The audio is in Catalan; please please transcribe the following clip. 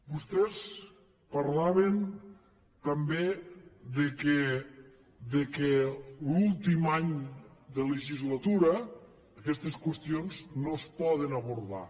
vostès parlaven també que l’últim any de legislatura aquestes qüestions no es poden abordar